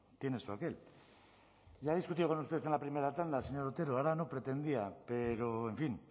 tiene su aquel ya he discutido con usted en la primera tanda señor otero ahora no pretendía pero en fin